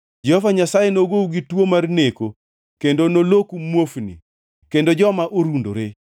Jehova Nyasaye nogou gi tuo mar neko kendo noloku muofni kendo joma orundore.